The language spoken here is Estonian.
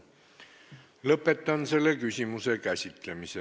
Lõpetan selle küsimuse käsitlemise.